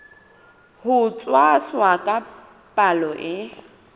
ho tshwasa ka palo e